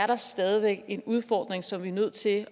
der stadig væk er en udfordring som vi er nødt til at